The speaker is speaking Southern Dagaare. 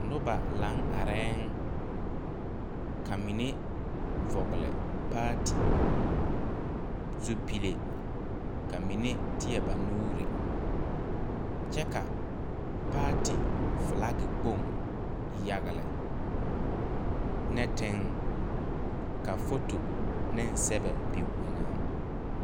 Nobɔ laŋ arɛɛŋ ka mine vɔgle paati zupile ka mine tēɛ ba nuure kyɛ ka paati flaki kpoŋ yagle nɛteŋ ka foto neŋ sɛbɛ be o eŋɛŋ.